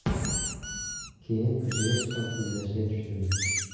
Keyin ko‘chaga chiqib izlashga tushdim.